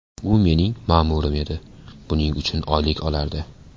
U mening ma’murim edi, buning uchun oylik olardi.